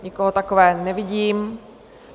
Nikoho takového nevidím.